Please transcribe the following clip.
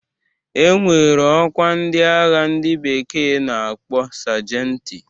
E nwere ọkwa ndị agha ndị bekee na-akpọ sajenti.